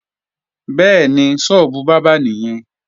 Bẹ́ẹ̀ni, sọ́ọ́bù bábà nìyẹn